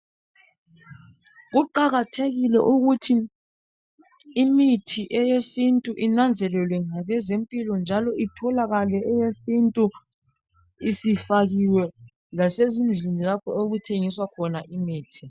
Kuqakathekile ukuthi imithi eyesintu inanzelelwe ngalezi impilo njalo itholakale eyesintu isifakiwe lase zindlini lapho okuthengiswa khona imithi.